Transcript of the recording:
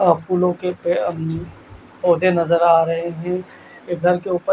आप फूलो के पेड़ पोधे नज़र आ रहे है ये बेल के ऊपर--